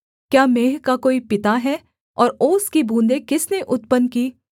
क्या मेंह का कोई पिता है और ओस की बूँदें किसने उत्पन्न की